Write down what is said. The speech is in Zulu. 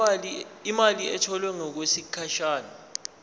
imali etholwe ngokwesigatshana